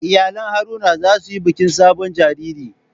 Iyalan Haruna za su yi bikin sabon jariri.